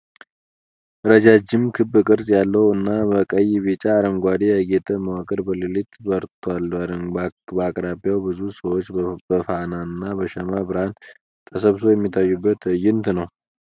ረዣዥም፣ ክብ ቅርጽ ያለው እና በቀይ፣ ቢጫ፣ አረንጓዴ ያጌጠ መዋቅር በሌሊት በርቷል። በአቅራቢያው ብዙ ሰዎች በፋናና በሻማ ብርሃን ተሰብስበው የሚታዩበት ትዕይንት ነው።